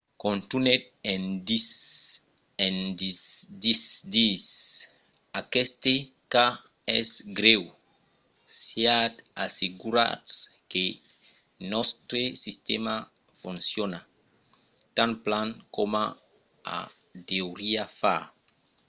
contunhèt en disent aqueste cas es grèu. siatz assegurats que nòstre sistèma fonciona tan plan coma o deuriá far.